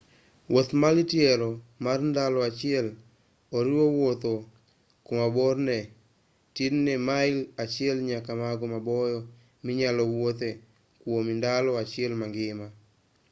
wuoth mar tielo mar ndalo achiel oriwo wuotho ku ma borne tin ne mail achiel nyaka mago maboyo minyalo wuothe kwuom ndalo achiel mangima